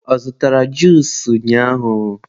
ọ zụtara juusu ụnyaahụ?